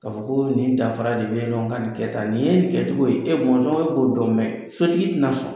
K'a fɔ koo nin danfara de be yen nɔ, ŋa nin kɛ tan, nin ye nin kɛcogo ye. E bɔnsɔn e b'o dɔn sotigi tɛna sɔn.